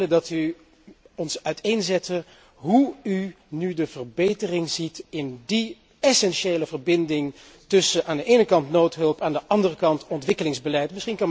zou graag willen dat u ons uiteenzette hoe u nu de verbetering ziet in die essentiële verbinding tussen aan de ene kant noodhulp, aan de andere kant ontwikkelingsbeleid.